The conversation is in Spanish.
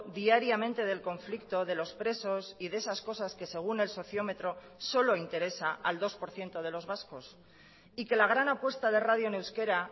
diariamente del conflicto de los presos y de esas cosas que según el sociómetro solo interesa al dos por ciento de los vascos y que la gran apuesta de radio en euskera